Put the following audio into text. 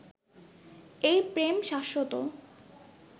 এই প্রেম শাশ্বত